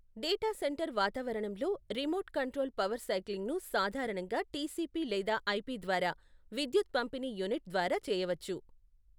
Data centre వాతావరణంలో, remote control power సైక్లింగ్ను సాధారణంగా టిసిపి లేదా ఐపి ద్వారా విద్యుత్ పంపిణీ యూనిట్ ద్వారా చేయవచ్చు.